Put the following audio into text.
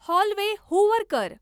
hallway hoover कर